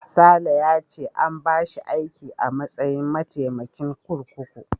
Sale ya ce an bashi aiki a matsayin mataimakin kurkuku.